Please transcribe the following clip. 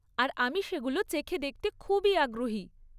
আর আমি সেগুলো চেখে দেখতে খুবই আগ্রহী।